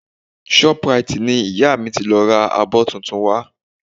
Shoprite ni ìyá mi ti lọ ra àwọn abọ́ tuntun wa